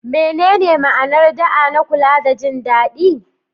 Menene ma'anar da'a na kula da jin daɗi?